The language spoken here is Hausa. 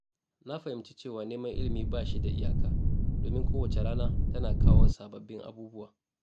Na fahimci cewa neman ilimi ba shi da iyaka, domin kowace rana tana kawo sababbin abubuwa.